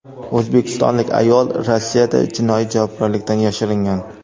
O‘zbekistonlik ayol Rossiyada jinoiy javobgarlikdan yashiringan.